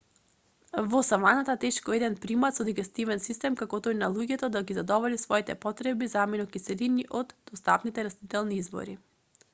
во саваната тешко е еден примат со дигестивен систем како тој на луѓето да ги задоволи своите потреби за аминокиселини од достапните растителни извори